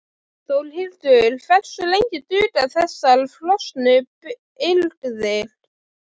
Þórhildur: Hversu lengi duga þessar frosnu birgðir?